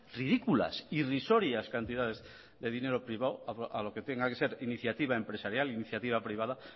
ridículas irrisorias cantidades de dinero privado a lo que tenga que ser iniciativa empresarial iniciativa privada